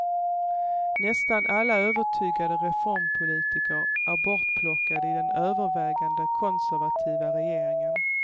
Nästan alla övertygade reformpolitiker är bortplockade i den övervägande konservativa regeringen.